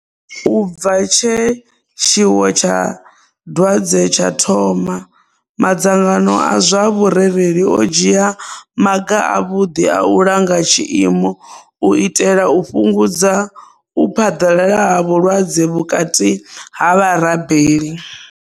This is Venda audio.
U bva tshe tshiwo tsha dwadze tsha thoma, madzangano a zwa vhurereli o dzhia maga avhuḓi a u langa tshiimo u itela u fhungudza u phaḓalala ha vhulwadze vhukati ha vharabeli.